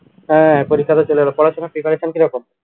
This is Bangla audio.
হ্যা পরীক্ষাতো চলে এলো পড়াশুনার preparation কিরকম